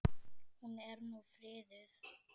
Hún er nú friðuð.